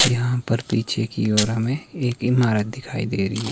यहां पर पीछे की ओर हमें एक इमारत दिखाई दे रही है।